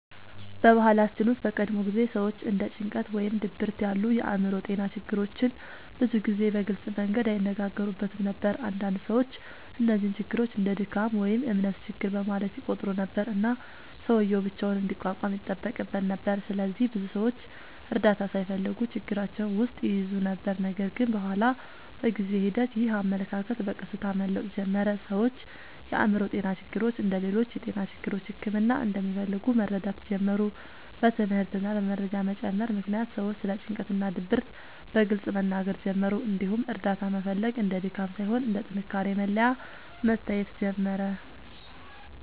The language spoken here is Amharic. በባህላችን ውስጥ በቀድሞ ጊዜ ሰዎች እንደ ጭንቀት ወይም ድብርት ያሉ የአእምሮ ጤና ችግሮችን ብዙ ጊዜ በግልጽ መንገድ አይነጋገሩበትም ነበር። አንዳንድ ሰዎች እነዚህን ችግሮች እንደ “ድካም” ወይም “እምነት ችግር” በማለት ይቆጥሩ ነበር፣ እና ሰውዬው ብቻውን እንዲቋቋም ይጠበቅበት ነበር። ስለዚህ ብዙ ሰዎች እርዳታ ሳይፈልጉ ችግራቸውን ውስጥ ይይዙ ነበር። ነገር ግን በኋላ በጊዜ ሂደት ይህ አመለካከት በቀስታ መለወጥ ጀመረ። ሰዎች የአእምሮ ጤና ችግሮች እንደ ሌሎች የጤና ችግሮች ሕክምና እንደሚፈልጉ መረዳት ጀመሩ። በትምህርት እና በመረጃ መጨመር ምክንያት ሰዎች ስለ ጭንቀት እና ድብርት በግልጽ መናገር ጀመሩ፣ እንዲሁም እርዳታ መፈለግ እንደ ድካም ሳይሆን እንደ ጥንካሬ መለያ መታየት ጀመረ።